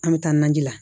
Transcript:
An bɛ taa naji la